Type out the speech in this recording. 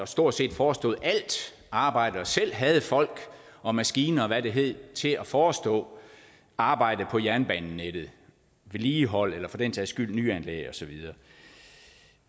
stort set forestod alt arbejde og selv havde folk og maskiner og hvad det hedder til at forestå arbejdet på jernbanenettet og vedligeholde eller for den sags skyld lave nyanlæg og så videre